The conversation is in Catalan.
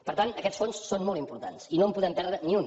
per tant aquests fons són molt importants i no en podem perdre ni un